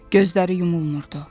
Gözləri yumulmurdu.